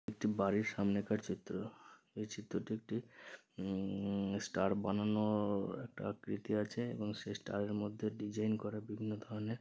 একটি বাড়ির সামনেকার চিত্র এই চিত্রটি একটি উম ষ্টার বানানো একটা আকৃতি আছে এবং সেই স্টার -এর মধ্যে ডিজাইন করা বিভিন্ন ধরনের।